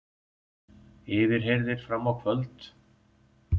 Yfirheyrðir fram á kvöld